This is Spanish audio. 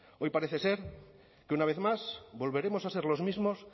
hoy parece ser que una vez más volveremos a ser los mismos